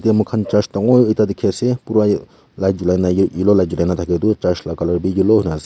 te mokhan church dangor ekta dikhiase pura light chulai na yellow light julai na edukarne church la colour bi yellow hoina ase.